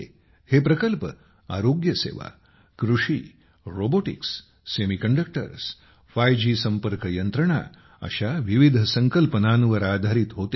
हे प्रकल्प आरोग्यसेवा कृषी रोबोटिक्ससेमी कंडक्टर्स 5 जी संपर्क यंत्रणा अशा विविध संकल्पनांवर आधारित होते